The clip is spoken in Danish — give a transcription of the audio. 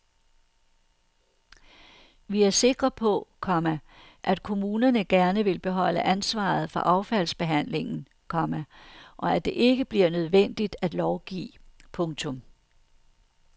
Vi er sikre på, komma at kommunerne gerne vil beholde ansvaret for affaldsbehandlingen, komma og at det ikke bliver nødvendigt at lovgive. punktum